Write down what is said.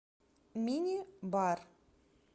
мини бар